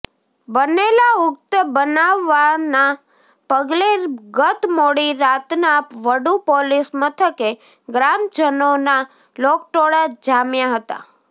બનેલા ઉક્ત બનાવના પગલે ગત મોડી રાતના વડુ પોલીસ મથકે ગ્રામજનોના લોકટોળા જામ્યા હતા